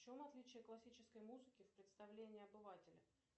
в чем отличие классической музыки в представлении обывателя